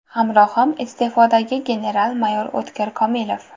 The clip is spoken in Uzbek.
Hamrohim iste’fodagi general-mayor O‘tkir Komilov.